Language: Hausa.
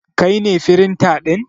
Kai ne firinta ɗin?